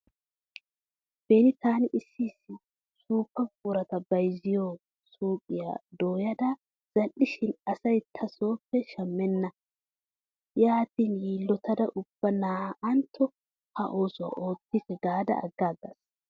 Beni taani issi issi suuppa buqurata bayzziyoo suyqiyaa dooyada zal"ishin asay ta sooppe shammenna. Yaatin yiillotada ubba na"antto ha ossuwa oottikke gaada aggaagas.